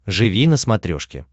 живи на смотрешке